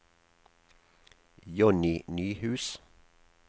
Johnny Nyhus